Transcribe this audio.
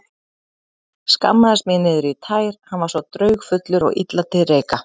Skammaðist mín niður í tær, hann var svo draugfullur og illa til reika.